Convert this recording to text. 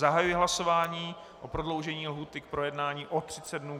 Zahajuji hlasování o prodloužení lhůty k projednání o 30 dnů.